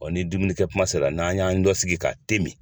ni dumunikɛ kuma se la n'an y'an lɔsigi ka te min.